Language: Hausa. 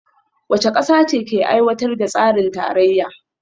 Wace kasa ce ke aiwatar da tsarin tarayya?